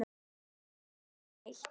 Vissi enginn neitt?